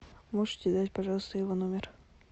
можете дать пожалуйста его номер